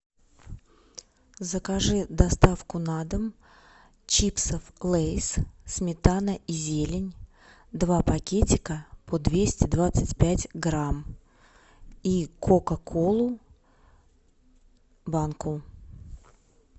закажи доставку на дом чипсов лейс сметана и зелень два пакетика по двести двадцать пять грамм и кока колу банку